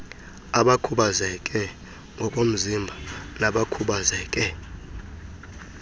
abakhubazeke ngokomzimba nabakhubazeke